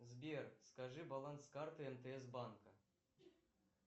сбер скажи баланс карты мтс банка